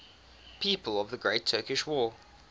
people of the great turkish war